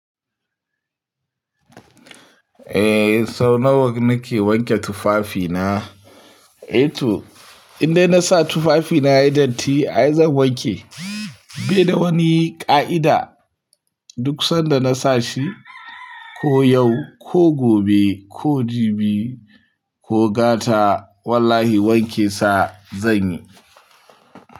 Eh, sau nawa nake wanke tufafina? Eh to indai na sa tufafina yayi datti ai zan wanke. Bai da wani ƙa'ida, duk sanda na sa shi ko yau, ko gobe, ko jibi, ko gata wallahi wanke sa zan yi.